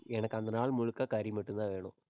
எனக்கு அந்த நாள் முழுக்க கறி மட்டும்தான் வேணும்.